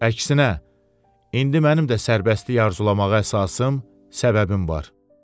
Əksinə, indi mənim də sərbəstlik arzulamağa əsasım, səbəbim var.